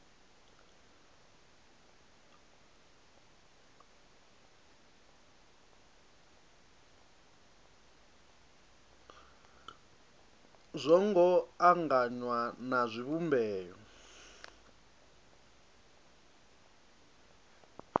zwo ngo anganywa na zwivhumbeo